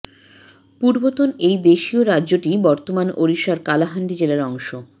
পূর্বতন এই দেশীয় রাজ্যটি বর্তমান ওড়িশার কালাহান্ডি জেলার অংশ